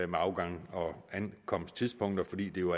med afgangs og ankomsttidspunkter fordi det jo